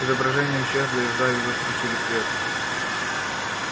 изображение исчезло и в зале за включили свет